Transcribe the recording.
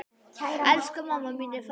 Elsku mamma mín er farin.